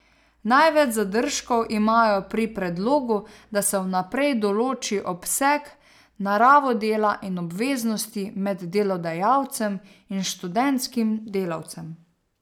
Največ zadržkov imajo pri predlogu, da se vnaprej določi obseg, naravo dela in obveznosti med delodajalcem in študentskim delavcem.